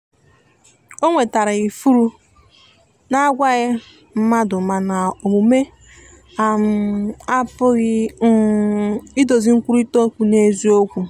o nwetara ifụrụ na agwaghi madumana omume um apụghi um idozi nkwụrita okwụ n'eziokwu.